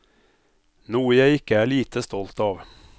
Noe jeg ikke er lite stolt av.